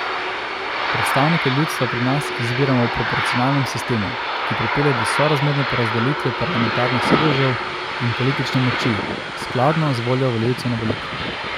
Predstavnike ljudstva pri nas izbiramo v proporcionalnem sistemu, ki pripelje do sorazmerne porazdelitve parlamentarnih sedežev in politične moči, skladno z voljo volivcev na volitvah.